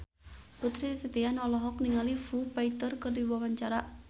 Putri Titian olohok ningali Foo Fighter keur diwawancara